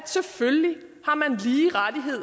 selvfølgelig